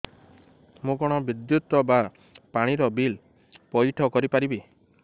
ମୁ କଣ ବିଦ୍ୟୁତ ବା ପାଣି ର ବିଲ ପଇଠ କରି ପାରିବି